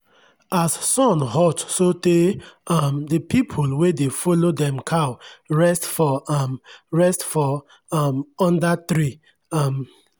as sun hot so tey um the pple wey dey follow dem cow rest for um rest for um under tree. um